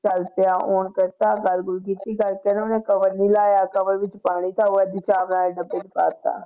ਚੱਲ ਪਿਆ on ਕੀਤਾ ਗੱਲ ਗੁੱਲ ਕੀਤੀ ਕਰਕੇ ਨਾ ਉਹਨੇ cover ਨੀ ਲਾਇਆ cover ਵਿੱਚ ਪਾਣੀ ਥਾ, ਉਹ ਏਦੀਂ ਚਾਵਲ ਵਾਲੇ ਡੱਬੇ ਚ ਪਾ ਦਿੱਤਾ।